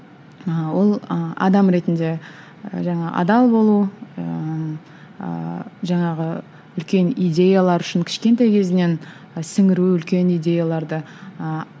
ы ол ы адам ретінде жаңағы адал болу ыыы жаңағы үлкен идеялар үшін кішкентай кезінен сіңіру үлкен идеяларды ыыы